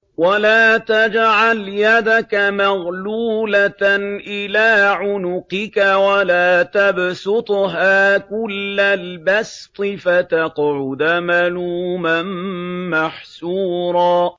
وَلَا تَجْعَلْ يَدَكَ مَغْلُولَةً إِلَىٰ عُنُقِكَ وَلَا تَبْسُطْهَا كُلَّ الْبَسْطِ فَتَقْعُدَ مَلُومًا مَّحْسُورًا